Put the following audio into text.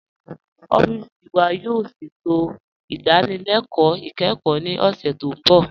Ọfiisi wa yóò ṣẹ̀tò idànílélẹ̀kọ ikẹ́kọ̀ ní ọṣẹ̀ tó nbọ̀.